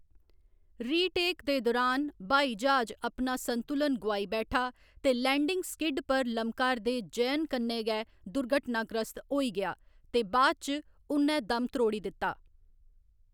री टेक दे दुरान, ब्हाई ज्हाज अपना संतुलन गोआई बैठा ते लैंडिंग स्किड पर लमका'रदे जयन कन्नै गै दुर्घटनाग्रस्त होई गेआ, ते बाद इच उ'न्नै दम त्रोड़ी दित्ता।